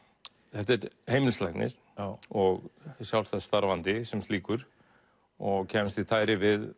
þetta er heimilislæknir og sjálfstætt starfandi sem slíkur og kemst í tæri við